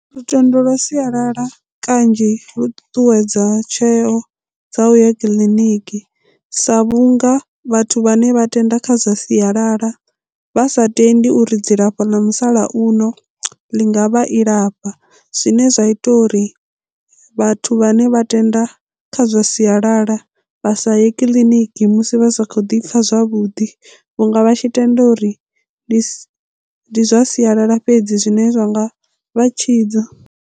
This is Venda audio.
Lutendo lwa sialala kanzhi lu ṱuṱuwedza tsheo dza u ya kiḽiniki sa vhunga vhathu vhane vha tenda kha zwa sialala vha sa tendi uri dzilafho ḽa musalauno ḽi nga vha i lafha zwine zwa ita uri vhathu vhane vha tenda kha zwa sialala vha sa ye kiḽiniki musi vha sa khou ḓi pfha zwavhuḓi vhunga vha tshi tenda uri ndi zwa sialala fhedzi zwine zwa nga vha tshidza.